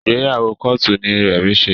Ìgbéyàwó kóòtù ni Remi ṣe